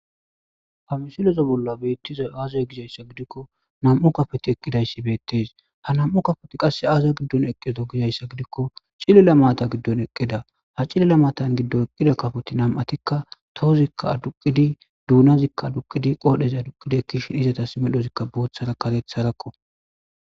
Hamisileza bolla beettizay aazee giikko nam7u kapoti eqqidayssi beettees,ha nam7u kapoti qasse aaza giddon eqqido gizaysa gidiko cilia maata giddon eqqida ha cilila maata giddon eqqida kapotas tohozi aduqqidi duunazikka aduqqidi ekkishin izetas medhozi booththara karetharakko.